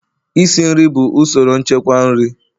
isi nri bụ usoro nchekwa nri